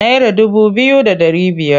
Naira dubu biyu da ɗari biyar.